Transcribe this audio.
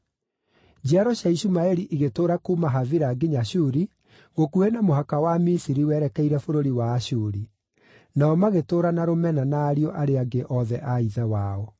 Njiaro cia Ishumaeli igĩtũũra kuuma Havila nginya Shuri, gũkuhĩ na mũhaka wa Misiri werekeire bũrũri wa Ashuri. Nao magĩtũũra na rũmena na ariũ arĩa angĩ othe a ithe wao.